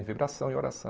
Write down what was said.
Em vibração e oração.